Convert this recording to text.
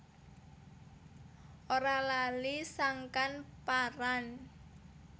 Ora lali sangkan paran